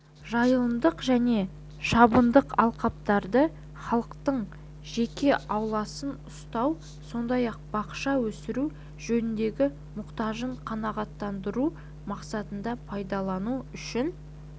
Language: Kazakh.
жайылымдық және шабындық алқаптарды халықтың жеке ауласын ұстау сондай-ақ бақша өсіру жөніндегі мұқтажын қанағаттандыру мақсатында пайдалану үшін